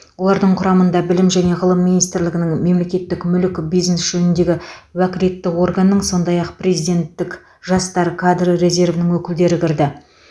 олардың құрамына білім және ғылым министрлігінің мемлекеттік мүлік бизнес жөніндегі уәкілетті органның сондай ақ президенттік жастар кадры резервінің өкілдері кірді